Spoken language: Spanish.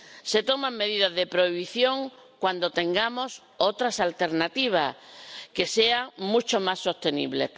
Se toman medidas de prohibición cuando tengamos otras alternativas que sean mucho más sostenibles.